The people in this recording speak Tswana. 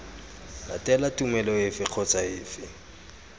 latela tumelo efe kgotsa efe